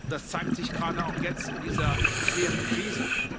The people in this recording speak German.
Das zeigt sich gerade auch jetzt in dieser schweren Krise.